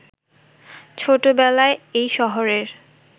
ছোটবেলায় এই শহরের